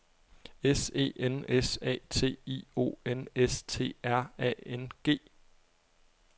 S E N S A T I O N S T R A N G